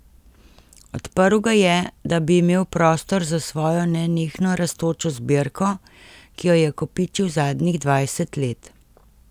Odprl ga je, da bi imel prostor za svojo nenehno rastočo zbirko, ki jo je kopičil zadnjih dvajset let.